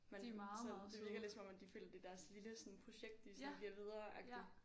Man sådan det virker lidt som om at de føler det er deres lille sådan projekt de sådan giver videre agtigt